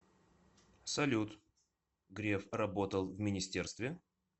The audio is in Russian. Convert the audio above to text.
салют греф работал в министерстве